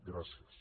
gràcies